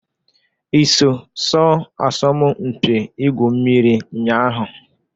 I so sọọ asọmụ mpị igwu mmiri nnya ahụ?